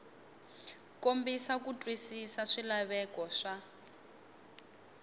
kombisa ku twisisa swilaveko swa